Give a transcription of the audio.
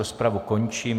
Rozpravu končím.